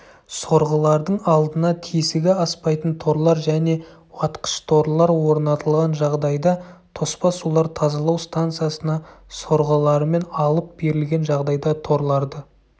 сорғылардың алдына тесігі аспайтын торлар немесе уатқыш-торлар орнатылған жағдайда тоспа сулар тазалау станциясына сорғылармен алып берілген жағдайда торларды